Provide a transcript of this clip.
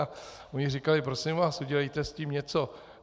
A oni říkali: Prosím vás, udělejte s tím něco.